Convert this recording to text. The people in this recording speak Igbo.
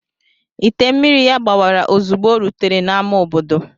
Ite mmiri ya gbawara ozugbo o rutere n'ámá obodo.